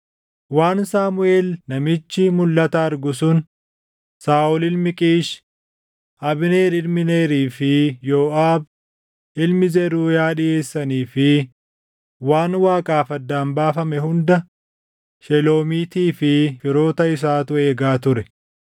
Waan Saamuʼeel namichi mulʼata argu sun, Saaʼol ilmi Qiish, Abneer ilmi Neerii fi Yooʼaab ilmi Zeruuyaa dhiʼeessanii fi waan Waaqaaf addaan baafame hunda Sheloomiitii fi firoota isaatu eega ture.